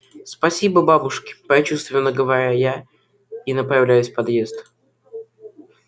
спасибо бабушке прочувственно говорю я и направляюсь в подъезд